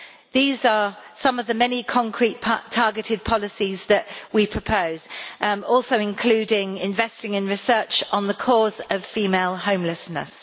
These are some of the many concrete targeted policies that we propose, which also include investing in research into the causes of female homelessness.